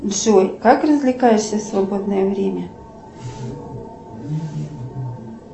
джой как развлекаешься в свободное время